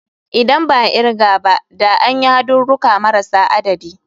Idan ba a kirga ba da an yi hadurruka marasa adadi.